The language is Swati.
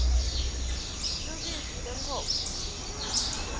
lubisi lwenkhomo